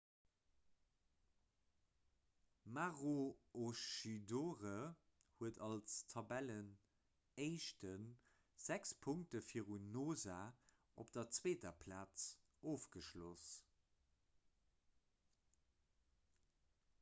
maroochydore huet als tabellenéischten sechs punkte virun noosa op der zweeter plaz ofgeschloss